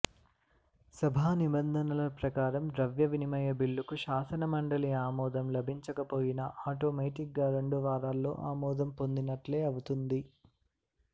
సభా నిబంధనల ప్రకారం ద్రవ్య వినిమయ బిల్లుకు శాసనమండలి ఆమోదం లభించకపోయినా ఆటోమేటిగ్గా రెండు వారాల్లో ఆమోదం పొందినట్లే అవుతుంది